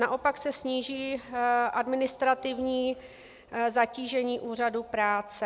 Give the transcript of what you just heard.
Naopak se sníží administrativní zatížení úřadů práce.